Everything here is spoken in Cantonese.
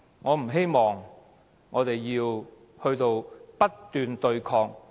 我不希望我們要不斷對抗，浪費生命。